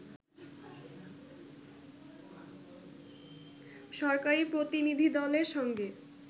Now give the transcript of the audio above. সরকারি প্রতিনিধিদলের সঙ্গে